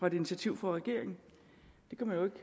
et initiativ fra regeringen det kan man